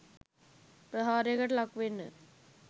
ප්‍රහාරයකට ලක් වෙන්න